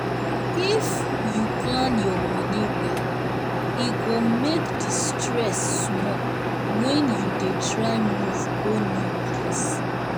if um you plan your money well e go make the stress small when you dey try move go new place.